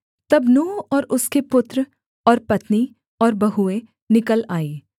तब नूह और उसके पुत्र और पत्नी और बहुएँ निकल आईं